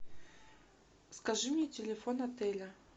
скажи мне телефон отеля